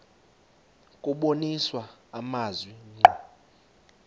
kubonisa amazwi ngqo